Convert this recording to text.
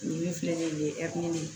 Nin min filɛ nin ye